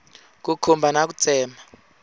ku khumba na ku tsema